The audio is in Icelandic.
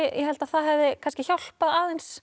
ég held að það hefði kannski hjálpað aðeins